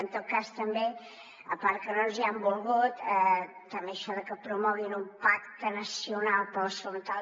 en tot cas també a part que no ens hi han volgut també això de que promoguin un pacte nacional per la salut mental